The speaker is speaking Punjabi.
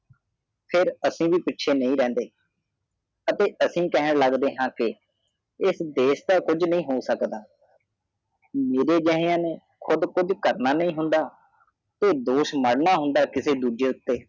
ਫਿਰ ਅਸੀਂ ਵੀ ਪਿੱਛੇ ਨਹੀਂ ਰਹਦੇ ਅਤੇ ਅਸੀਂ ਕਹਿਣ ਲੱਗਦੇ ਹ ਕੇ ਇਸ ਦੇਸ਼ ਦਾ ਕੁਛ ਨਹੀ ਹੋ ਸਾਕਾ ਹਾ ਮੇਰੇ ਜਾਹੀਆ ਨੂ ਕੂਦ ਕੁਛ ਕਰਨਾ ਨਹੀ ਹੁੰਦਾ ਤੇ ਦੂਸ਼ ਮਦਨ ਹੁੰਦਾ ਕਿਸੇ ਦੂਜੇ ਉਤੇ